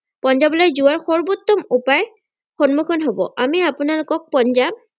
পঞ্জাৱলৈ যোৱাৰ সৰ্বোত্তম উপায় সন্মুখীন হব আমি আপোনালোকক পঞ্জাৱ